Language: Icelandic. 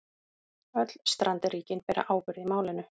Öll strandríkin beri ábyrgð í málinu